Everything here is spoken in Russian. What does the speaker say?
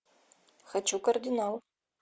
хочу кардинал